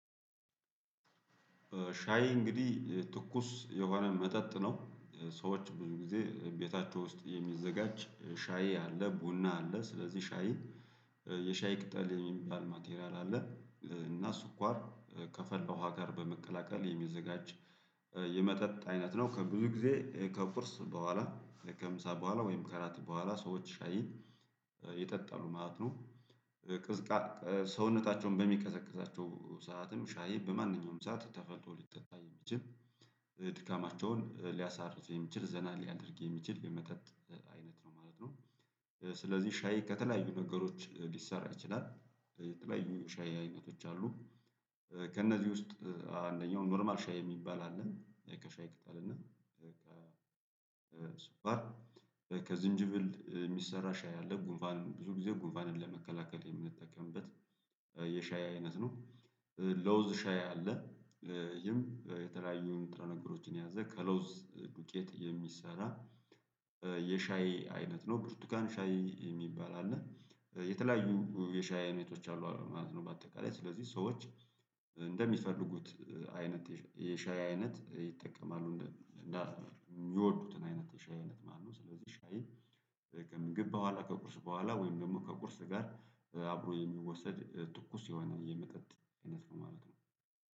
ሻይ እንግዲህ ትኩስ የሆነ መጠጥ ነው ሰዎች ብዙ ጊዜ ቤታቸው ውስጥ የሚዘጋጅ ሻይ አለ ቡና አለ ስለዚህ ሻይ የሻይ ቅጠል የሚባል ማቴሪያል አለ። እና ስኳር ከፈለ ውሃ ጋር በመቀላቀል የሚዘጋጅ የመጠጥ አይነት ነው ብዙ ጊዜ ከቁርስ በኋላ ከምሳ በኋላ ወይም ከራት በኋላ ሰዎች ሻይ ይጠጠሉ ማለት ነው። ቅዝቃ ሰውነታቸውን በሚቀዛቅዛቸው ሰዓትም ሻይ በማንኛውም ሰዓት ተፈልቶ ሊጠጣ የሚችል ድካማቸውን ሊያሳርፍ የሚችል ዘና ሊያደርግ የሚችል የመጠጥ አይነት ነው ማለት ነው። ስለዚህ ሻይ ከተለያዩ ነገሮች ሊሰራ ይችላል የተለያዩ ሻይ አይነቶች አሉ። ከእነዚህ ውስጥ አንደኛው ኖርማል ሻይ የሚባል አለ ከሻይ ቅጠልና ከዝንጅብል የሚሰራ ሻይ አለ ጉንፋን ብዙ ጊዜ ጉንፋንን ለመከላከል የምንጠቀምበት የሻይ አይነት ነው። ለውዝ ሻይ አለ ይህም የተለያዩ ንጥረ ነገሮችን የያዘ ከለውዝ ዱቄት የሚሰራ የሻይ አይነት ነው። ብርቱካን ሻይ የሚባል አለ የተለያዩ የሻይ አይነቶች አሉ ማለት ነው። በአጠቃላይ ስለዚህ ሰዎች እንደሚፈልጉት አይነት የሻይ አይነት ይጠቀማሉ እና የሚወዱትን አይነት ሻይ አይነት ማለት ነው። ስለዚህ ሻይ ከምግብ በኋላ ከቁርስ በኋላ ወይም ደግሞ ከቁርስ ጋር አብሮ የሚወሰድ ትኩስ የሆነ የመጠጥ አይነት ማለት ነው